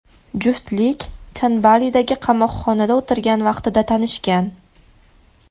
Juftlik Chan Balidagi qamoqxonada o‘tirgan vaqtida tanishgan.